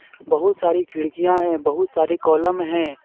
बहुत सारी खिड़किया हैं बहुत सारी कॉलम है.